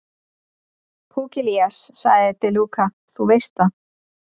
Pugliese, sagði De Luca, þú veist það.